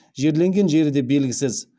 жерленген жері де белгісіз